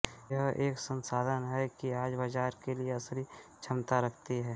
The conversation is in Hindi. यह एक संसाधन है कि आज बाजार के लिए असली क्षमता रखती है